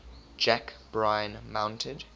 jack bryan mounted